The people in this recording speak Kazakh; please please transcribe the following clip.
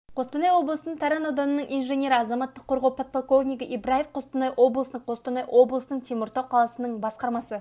қостанай облысының таран ауданының инженері азаматтық қорғау подполковнигі ибраев қостанай облысының қостанай облысының теміртау қаласының басқармасы